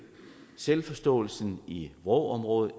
selvforståelsen i vrå området